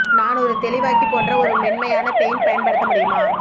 நான் ஒரு தெளிவாக்கி போன்ற ஒரு மென்மையான பெயிண்ட் பயன்படுத்த முடியுமா